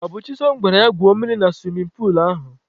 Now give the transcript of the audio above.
Ọ bụ Chisom gwara ya gwuo mmiri na suwimin puulu ahụ.